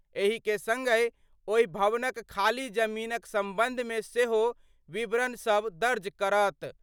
एहि के संगहि ओहि भवनक खाली जमीनक संबंधमे सेहो विवरण सभ दर्ज करत।